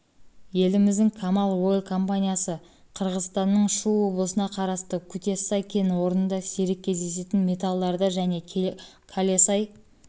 еліміздің камал ойл компаниясы қырғызстанның шу облысына қарасты кутессай кен орнында сирек кездесетін металдарды және калесай